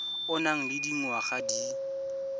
o nang le dingwaga di